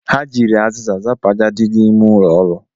Ha jiri azịza zapụ àjà dị n’ime ụlọọrụ